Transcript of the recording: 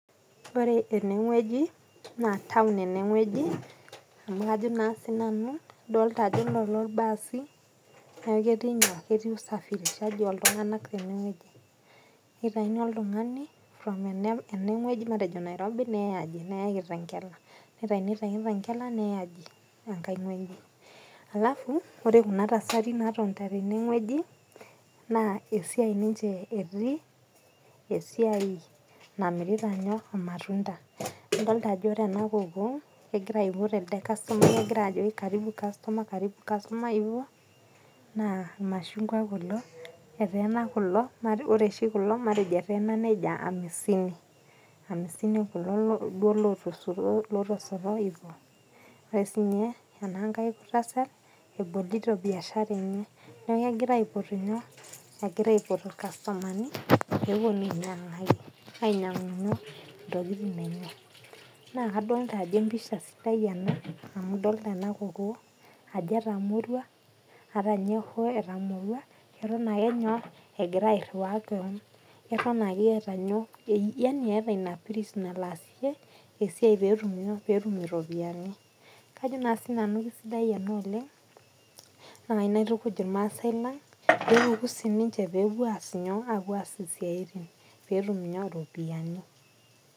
Ore ene wueji, naa taon ene wueji, amu kajo naa siinanu adolita ajo olelo ilbaasi, neaku ketii usafirishaji oltung'anak. Keitayuni oltung'ani from ene wueji e Nairobi, neyai kitengela, ore pee eitayuni te kitengela neyai enkai wueji. Alafu ore Kuna tasati naatonita tenewueji naa esiai ninche etii , esiai namirita ninche ilmatunda. Idolita ajo ore ena kokoo, egira aipot elde kastomai ajoki Karibu customer, Karibu customer, naa ilmashungwa kulo, eteena kulo, naa matejo ore oshi kulo eteena neija amisini. Amisini kulo lootosoto neija kulo. Ore sii ninye enakai tasat, ebolito biashara enye neaku egira aipotu ilkastomani, pee ewuonuni ainyang'u intokitin enyena. Naa adolita ajo empisha sidai ena amu adolita ena kokoo ajo etamorua, ata ninye hoo etamorua, Eton ake enyok egira airuaya kewon, Eton ake eata Ina piris nalo aasie esiai pee etum iropiani. Kajo naa sii nanu sidai ena oleng' naa ayou naitukuj ilmaasai lang ' pee epuku sii ninche pee epuo aas isiaitin peetum iropiani.